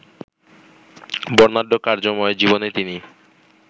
বর্ণাঢ্য কর্মময় জীবনে তিনি